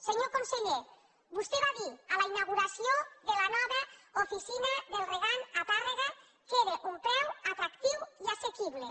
senyor conseller vostè va dir en la inauguració de la nova oficina del regant a tàrrega que era un preu atractiu i assequible